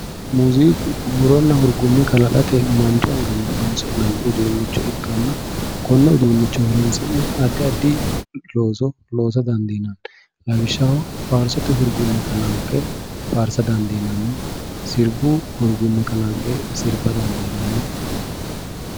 muziiqu huuronna hurgumme kalaqate manchu anganni horonsi'nanni uduunicho ikkanna konne uduunicho horonsi'ne addi addi looso loosa dadiinanni lawishshaho faarsote hurgumme kalanqe faarsate dandiinanni sirbu hurgumme kalanqe sirba dandiinanni